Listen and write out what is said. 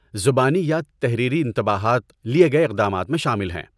زبانی یا تحریری انتباہات لیے گئے اقدامات میں شامل ہیں۔